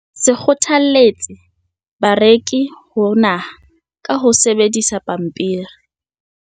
Se kgothaletsa bareki ho nahana ka ho sebedisa pampiri.